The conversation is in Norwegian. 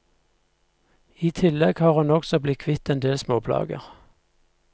I tillegg har hun også blitt kvitt endel småplager.